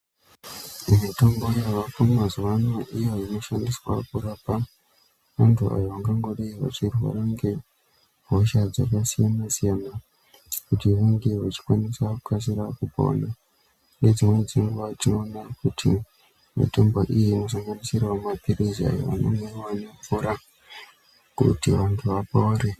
Mitombo yavako mazuvano iyo inoshandiswa kurapa vantu avo vangodai vachirwara nge hosha dzaka siyana siyana kuti vange vachi kwanisa kukasira kupona nge dzimweni dzenguva tinoona kuti mitombo iyi ino sanganisira ma pirizi ayo anomwiwa ne mvura kuti antu apore.